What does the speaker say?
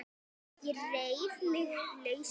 Ég reif mig lausan.